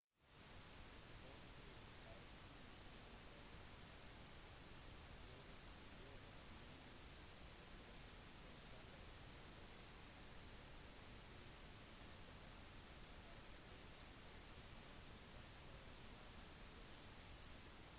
forskere har funnet landformasjoner spredt over månens overflate som kalles for lobate helninger som tilsynelatende skyldes at månen krymper veldig sakte